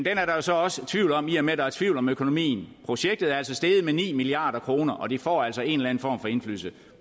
er der jo så også tvivl om i og med at der er tvivl om økonomien projektet er altså steget med ni milliard kr og det får altså en eller anden form for indflydelse